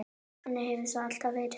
Þannig hefur það alltaf verið.